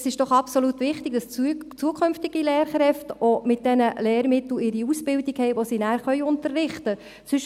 – Es ist doch absolut wichtig, dass zukünftige Lehrkräfte ihre Ausbildung mit jenen Lehrmitteln machen, mit denen sie nachher unterrichten können.